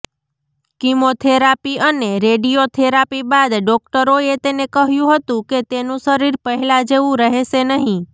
chemotherapy અને radiotherapy બાદ ડોક્ટરોએ તેને કહ્યું હતું કે તેનું શરીર પહેલા જેવું રહેશે નહિ